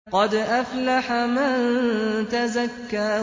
قَدْ أَفْلَحَ مَن تَزَكَّىٰ